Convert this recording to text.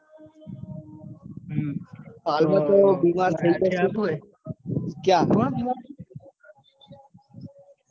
હાલ તો